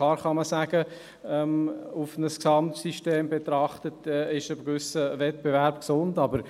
Klar kann man, wenn man ein Gesamtsystem betrachtet, sagen, dass ein gewisser Wettbewerb gesund ist.